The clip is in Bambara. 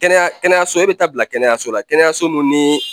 Kɛnɛya kɛnɛyaso e be taa bila kɛnɛyaso la kɛnɛyaso mun nii